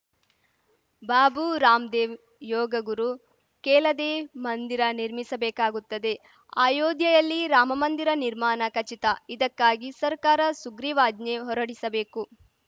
ಬಾಬು ರಾಮ್‌ದೇವ್‌ ಯೋಗ ಗುರು ಕೇಲದೆಯೇ ಮಂದಿರ ನಿರ್ಮಿಸಬೇಕಾಗುತ್ತದೆ ಅಯೋಧ್ಯೆಯಲ್ಲಿ ರಾಮಮಂದಿರ ನಿರ್ಮಾನ ಖಚಿತ ಇದಕ್ಕಾಗಿ ಸರ್ಕಾರ ಸುಗ್ರೀವಾಜ್ಞೆ ಹೊರಡಿಸಬೇಕು